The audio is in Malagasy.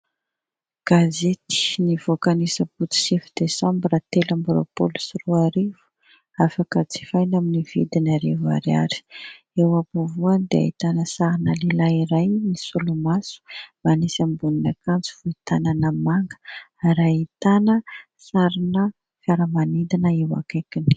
Gazety nivoaka ny Asabotsy sivy desambra telo amby roapolo sy roarivo, afaka jifaina amin' ny vidiny arivo ariary. Eo am-povoany dia ahitana sarina lehilahy iray misolomaso, manisy ambonin' ny akanjo fohy tanana manga ary ahitana sarina fiara-manidina eo akaikiny.